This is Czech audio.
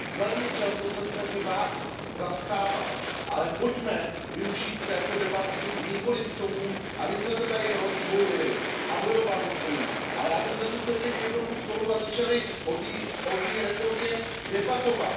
Velmi často jsem se vás i zastával, ale pojďme využít této debaty nikoliv k tomu, abychom se tady rozdvojili a bojovali spolu, ale abychom si sedli k jednomu stolu a začali o té reformě debatovat.